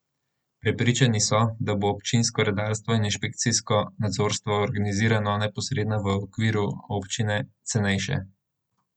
Prepričani so, da bo občinsko redarstvo in inšpekcijsko nadzorstvo, organizirano neposredno v okviru občine, cenejše.